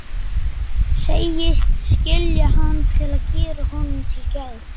Segist skilja hann til að gera honum til geðs.